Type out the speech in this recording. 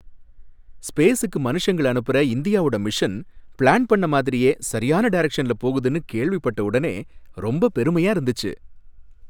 ஸ்பேஸுக்கு மனுஷங்கள அனுப்புற இந்தியாவோட மிஷன், பிளான் பண்ண மாதிரியே சரியான டைரக்ஷன்ல போகுதுன்னு கேள்விப்பட்ட உடனே ரொம்பப் பெருமையா இருந்துச்சு.